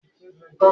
Béèni yóò fí sí ẹnu.